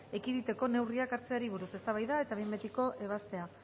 ekiditeko neurriak hartzeari buruz eztabaida eta behin betiko ebazpena